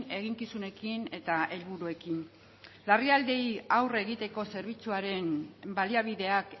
eginkizunekin eta helburuekin larrialdiei aurre egiteko zerbitzuaren baliabideak